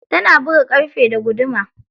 Tana buga ƙarfe da guduma.